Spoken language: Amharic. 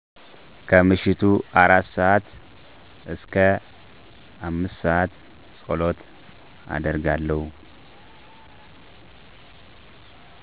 ከምሽቱ 4:00-5:00 ፀሎት አደርጋለሁ